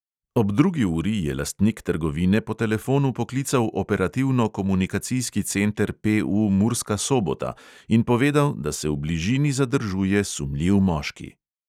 Ob drugi uri je lastnik trgovine po telefonu poklical operativno-komunikacijski center PU murska sobota in povedal, da se v bližini zadržuje sumljiv moški.